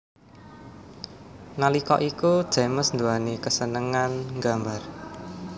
Nalika iku James nduwèni kesenengan nggambar